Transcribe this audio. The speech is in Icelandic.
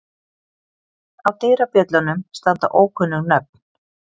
Á dyrabjöllunum standa ókunnug nöfn.